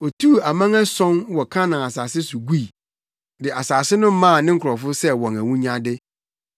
Otuu aman ason wɔ Kanaan asase so gui, de asase no maa ne nkurɔfo sɛ wɔn awunyade,